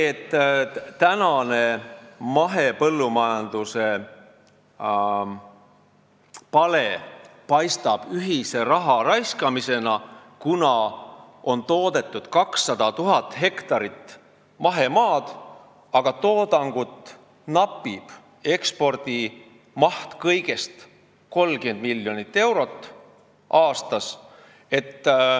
Tänane mahepõllumajanduse pale paistab ühise raha raiskamisena, kuna meil on 200 000 hektarit mahemaad, aga toodangut napib ja ekspordimaht on kõigest 30 miljonit eurot aastas.